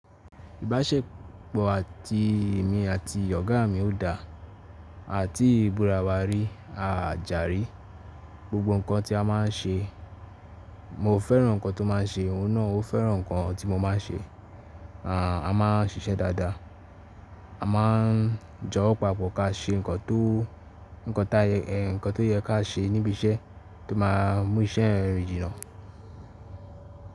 Ìbáṣepọ̀ àti èmi àti ọ̀gá mi ò dáa àti búra wa rí a jà rí. Gbogbo ǹkan tí a ma n ṣe, mo fẹ́ràn ǹkan tó ma n ṣe, ó náà ó fẹ́ràn ǹkan tí mo ma n ṣe. A ma n ṣiṣẹ́ dáadáa. A ma n jọwọ́. Papọ̀ kà ṣe ǹkan tó, ǹkan tó yẹ kí a ṣe níbi iṣẹ́ tó ma mú iṣẹ́ rìn jinà.